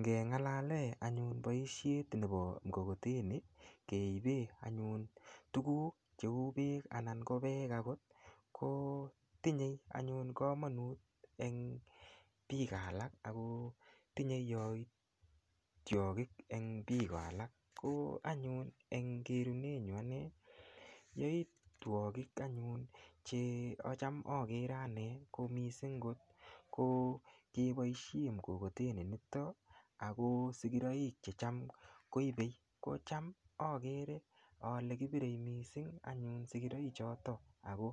Ngeng'alale anyun boishet nebo mkokoteni keibe anyun tuguk cheu beek anan ko peek akot kotinyei anyun kamanut eng' biko alak ako tinyei yoitwokik eng' biko alak ko anyun eng kerunenyu ane yoitwokik anyun chekocham agere ane ko mising' ko ngeboishe mkokoteni nito ako sikiroik chem koibei kocham akere ale kibirei mising' anyun sikiroichoto ako